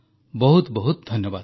ବହୁତ ବହୁତ ଧନ୍ୟବାଦ